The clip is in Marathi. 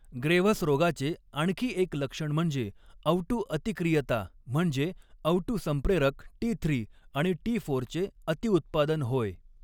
ग्रेव्हस रोगाचे आणखी एक लक्षण म्हणजे अवटुअतिक्रियता, म्हणजे, अवटु संप्रेरक टी थ्री आणि टीफोरचे अतिउत्पादन होय.